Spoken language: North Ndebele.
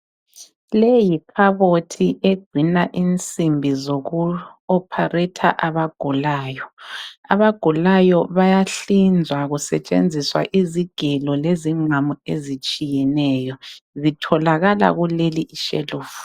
Leyi yikhabothi egcina insimbi zoku opharetha abagulayo. Abagulayo bayahlinzwa kusetshenziswa izigelo lezingqamu ezitshiyeneyo. Zitholakala kuleli ishelufu.